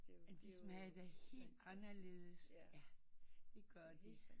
De smager jo helt anderledes det gør de